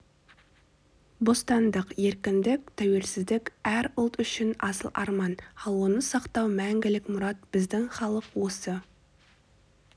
бостандық еркіндік тәуелсіздік әр ұлт үшін асыл арман ал оны сақтау мәңгілік мұрат біздің халық осы